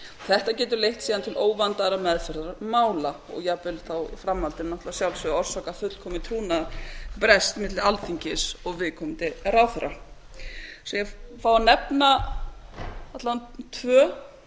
þetta gefur leitt síðan til óvandaðrar meðferðar mála og jafnvel í framhaldinu náttúrlega að sjálfsögðu orsakað fullkominn trúnaðarbrest milli alþingis og viðkomandi ráðherra ég ætla að fá að nefna alla vega tvö